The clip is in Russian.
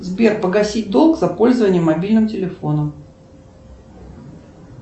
сбер погасить долг за пользование мобильным телефоном